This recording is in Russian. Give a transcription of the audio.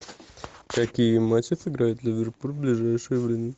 какие матчи сыграет ливерпуль в ближайшее время